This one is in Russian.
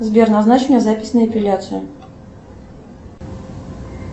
сбер назначь мне запись на эпиляцию